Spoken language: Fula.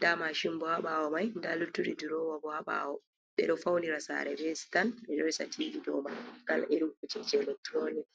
da mashin bo ha bawo mai da luttudi dorowa bo ha bawo ɓe ɗo faunira sare be sitan ɓe ɗo resa tivi ɗo mai kala irin kojeji electoronik.